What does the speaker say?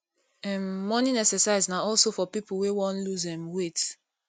um morning exercise na also for pipo wey won loose um weight